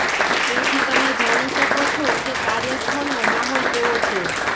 એથી તમે જાણી શકો છો કે કાર્યસ્થળનો માહોલ કેવો છે